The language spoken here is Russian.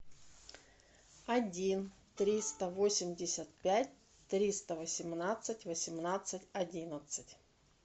один триста восемьдесят пять триста восемнадцать восемнадцать одиннадцать